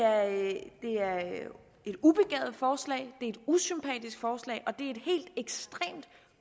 at det er et ubegavet forslag det er et usympatisk forslag og det ekstremt